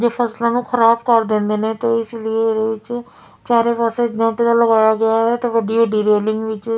ਜੋ ਫਸਲਾਂ ਨੂੰ ਖਰਾਬ ਕਰ ਦਿੰਦੇ ਨੇ ਤੇ ਇਸ ਲੀਏ ਇਹਦੇ ਵਿੱਚ ਚਾਰੇ ਪਾਸੇ ਇੱਕ ਬਾਰਡਰ ਲਗਾਇਆ ਗਿਆ ਹੈ ਤੇ ਕਿੱਡੀ ਵੱਡੀ ਰੇਲਿੰਗ ਵਿੱਚ।